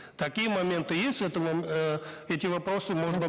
такие моменты есть это э эти вопросы можно